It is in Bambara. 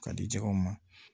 Ka di jɛgɛw ma